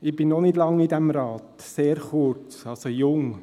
Ich bin noch nicht lange in diesem Rat, sehr kurz, also jung.